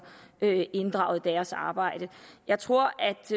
inddraget i deres arbejde jeg tror